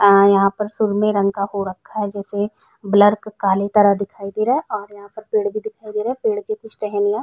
आ यहां पर सुर में रंग का हो रखा है जैसे ब्लर काली तरह दिखाई दे रहा है और यहां पर पेड़ भी दिखाई दे रहे हैं। पेड़ की कुछ टहनीयाँ --